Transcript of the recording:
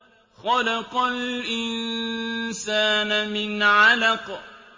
خَلَقَ الْإِنسَانَ مِنْ عَلَقٍ